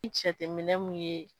I jateminɛ mun ye